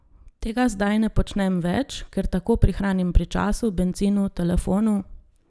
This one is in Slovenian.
Tega zdaj ne počnem več, ker tako prihranim pri času, bencinu, telefonu ...